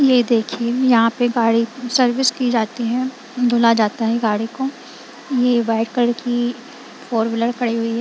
ये देखिए यहां पे गाड़ी सर्विस की जाती है धुला जाता है गाड़ी को ये व्हाइट कलर की फोर व्हीलर खड़ी हुई है।